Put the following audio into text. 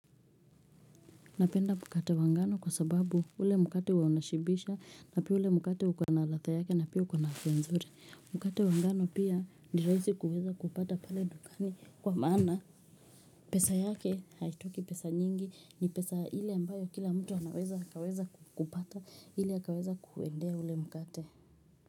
Napenda mkate wa ngano kwa sababu ule mkate huwa unashibisha na pia ule mkate hukuwa na ladha yake na pia ukona afya nzuri. Mkate wa ngano pia ni rahisi kuweza kupata pale dukani kwa maana pesa yake haitoki pesa nyingi ni pesa ile ambayo kila mtu anaweza akaweza kupata ile akaweza kuendea ule mkate.